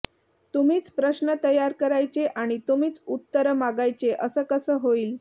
तुम्हीच प्रश्न तयार करायचे आणि तुम्हीच उत्तरं मागायचे असं कसं होईल